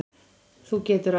Þú getur allt.